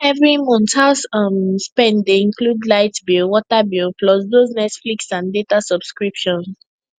every month house um spend dey include light bill water bill plus those netflix and data subscriptions